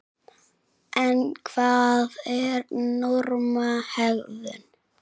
En hvað er normal hegðun?